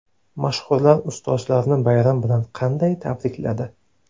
Mashhurlar ustozlarini bayram bilan qanday tabrikladi?